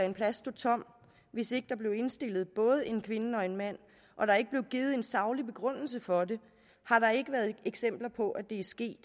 en plads stå tom hvis ikke er blevet indstillet både en kvinde og en mand og der ikke er blevet givet en saglig begrundelse for det har der ikke været eksempler på at det er sket i